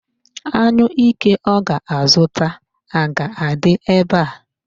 Anyụike ọ ga-azụta a ga-adị ebe a?